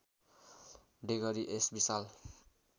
डेगरी यस विशाल